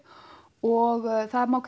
og það má